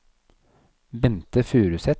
Bente Furuseth